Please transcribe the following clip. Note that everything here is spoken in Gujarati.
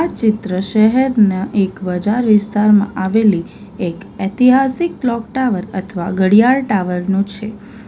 ચિત્ર શહેરના એક બજાર વિસ્તારમાં આવેલી એક ઐતિહાસિક ક્લોક ટાવર અથવા ઘડિયાળ ટાવર નો છે.